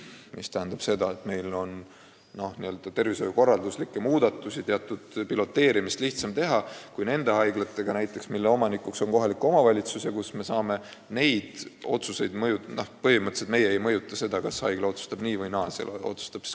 See tähendab seda, et meil on tervishoiukorralduslikke muudatusi ja teatud piloteerimist lihtsam teha kui haiglates, mille omanik on kohalik omavalitsus ja kus me põhimõtteliselt ei mõjuta seda, kas haigla otsustab nii või naa.